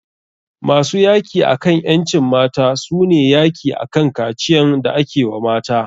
Masu yaki akan ƴancin mata su ne yaki akan kaciyan da ake wa mata.